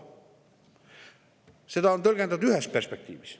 Seda on tõlgendatud ühes perspektiivis.